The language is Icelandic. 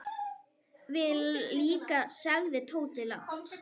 Við líka sagði Tóti lágt.